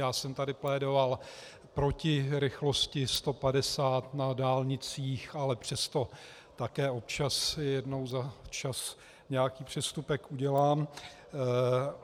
Já jsem tady plédovat proti rychlosti 150 na dálnicích, ale přesto také občas, jednou za čas nějaký přestupek udělám.